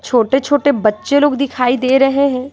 छोटे-छोटे बच्चे लोग दिखाई दे रहे हैं।